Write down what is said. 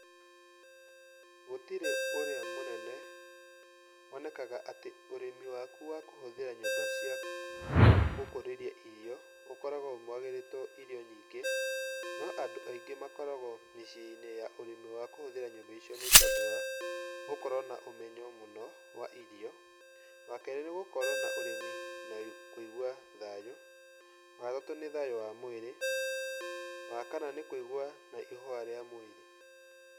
Gũtirĩ ũrĩa mũnene, wonekaga atĩ ũrĩmi waku wa kũhũthĩra nyũmba cia gũkũrĩria irio ũkoragwo wagĩrĩtwo irio nyingĩ, no andu aingĩ makoragwo mĩciĩnĩ ya ũrĩmi wa kũhũthĩra nyũmba icio nĩ tondũ wa gũkorwo na ũmenyo mũno wa irio. Wa kerĩ nĩ gũkorwo na ũrĩmi na kũigua thayũ, wa gatatũ nĩ thayũ wa mwĩrĩ. Wa kana nĩ kũigua na ihũa rĩa mwĩrĩ.